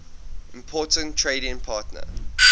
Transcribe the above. important trading partner